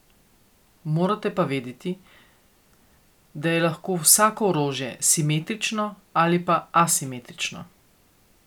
Morate pa vedeti, da je lahko vsako orožje simetrično ali pa asimetrično.